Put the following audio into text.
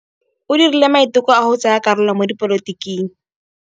O dirile maitekô a go tsaya karolo mo dipolotiking.